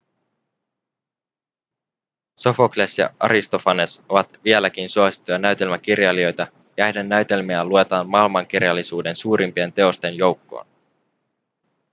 sofokles ja aristofanes ovat vieläkin suosittuja näytelmäkirjailijoita ja heidän näytelmiään luetaan maailmankirjallisuuden suurimpien teosten joukkoon